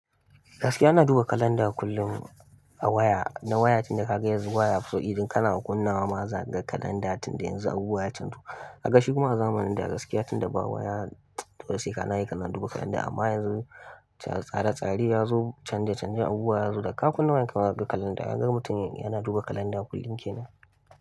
Gaskiya ina duba kalanda kullum a waya, na waya tunda ka ga yanzu waya. So idan kana kunna wa ma za ka ga kalanda tunda yanzu abubuwa ya canza. Ka ga shi kuma zamanin da gaskiya tunda ba waya, to sai ka na yi kana duba kalanda amma yanzu tsare-tsare ya zo canje-canjen abubuwa ya zo da ka kunna wayan k ma zaka ga kalanda. Ka ga mutum yana duba kalanda kullin kenan.